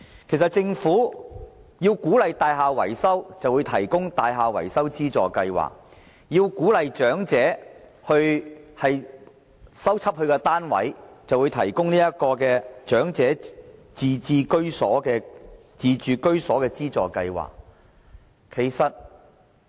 其實政府為鼓勵業主進行大廈維修，便推出了樓宇維修綜合支援計劃，為鼓勵長者修葺單位，就推出了長者維修自住物業津貼計劃。